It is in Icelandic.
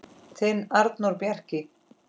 Þinn Arnór Bjarki.